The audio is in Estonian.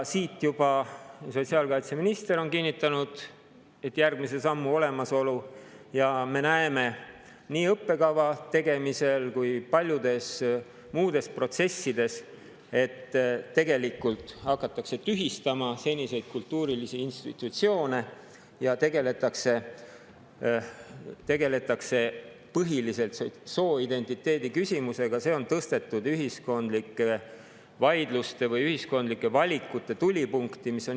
Sotsiaalkaitseminister on juba kinnitanud järgmise sammu olemasolu ja me näeme nii õppekava tegemisel kui ka paljudes muudes protsessides, et tegelikult hakatakse tühistama seniseid kultuurilisi institutsioone ja tegeldakse põhiliselt sooidentiteedi küsimusega, see on tõstetud ühiskondlike vaidluste või ühiskondlike valikute tulipunkti.